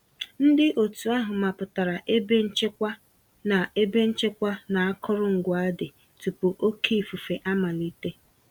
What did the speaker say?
Ndị òtù ahụ mapụtara ebe nchekwa na ebe nchekwa na akụrụngwa dị, tupu oké ifufe amalite